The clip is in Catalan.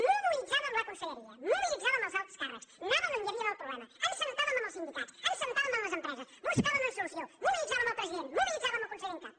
mobilitzàvem la conselleria mobilitzàvem els alts càrrecs anàvem on hi havia el problema ens assèiem amb els sindicats ens assèiem amb les empreses buscàvem una solució mobilitzàvem el president mobilitzàvem el conseller en cap